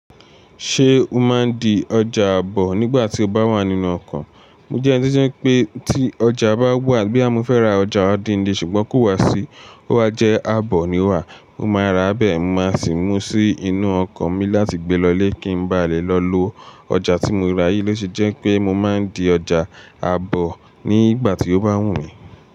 Ṣé o máa ń di ọjà àbọ̀ nígbà tí o bá wà nínú ọkọ̀? Mo jẹ́ eni to je pé tí ọjà bá wà, boya mo fẹ́ ra ọjà ọdún le, ṣùgbọ́n kó wá sí, ó wá jẹ́ àbọ̀ ni o wà, mo máa rà á bẹ́ẹ̀, mo máa sì mú sí inú ọkọ̀ mi láti gbé lọ ilé kí n ba lè lọ lo ọjà tí mo ra yìí léṣe jẹ́ pé mo máa ń di ọjà àbọ̀ nígbà tí ó bá wù mí.